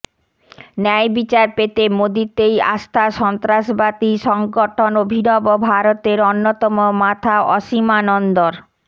ন্যায়বিচার পেতে মোদীতেই আস্থা সন্ত্রাসবাদী সংগঠন অভিনব ভারতের অন্যতম মাথা অসীমানন্দর